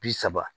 Bi saba